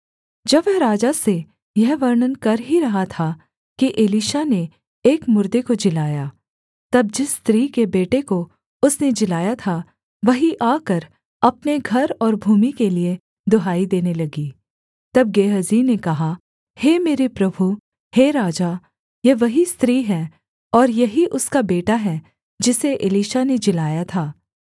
जब वह राजा से यह वर्णन कर ही रहा था कि एलीशा ने एक मुर्दे को जिलाया तब जिस स्त्री के बेटे को उसने जिलाया था वही आकर अपने घर और भूमि के लिये दुहाई देने लगी तब गेहजी ने कहा हे मेरे प्रभु हे राजा यह वही स्त्री है और यही उसका बेटा है जिसे एलीशा ने जिलाया था